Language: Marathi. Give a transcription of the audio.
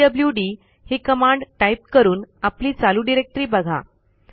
पीडब्ल्यूडी ही कमांड टाईप करून आपली चालू डिरेक्टरी बघा